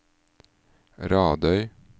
Radøy